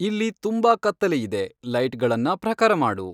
ಇಲ್ಲಿ ತುಂಬಾ ಕತ್ತಲೆಯಿದೆ ಲೈಟ್ಗಳನ್ನ ಪ್ರಖರ ಮಾಡು